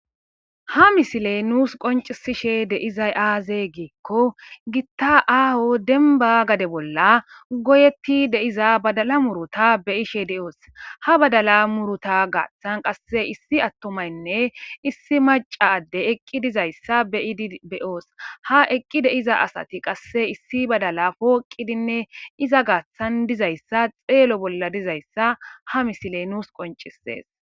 Ha misiley nuus qoncisishe deizay aaze giikko gitta aaho denba gade bolla goyetti deiza badala murota beyishe deoos ha badala murota gaaththan qasse issi attomaynne issi macadde eqqi dizayssa beyidi beyoos ha eqqi deiza asati qasse issi badala pooqidinne iza gaaththan dizayssa xeelo bolla dizayssa ha misiley nuus qoncisees.